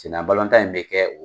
Senna balɔntan in be kɛ